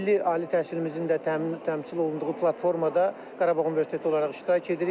Milli ali təhsilimizin də təmsil olunduğu platformada Qarabağ Universiteti olaraq iştirak edirik.